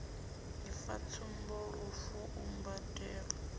ifa tsumbo lufu u mbwandamela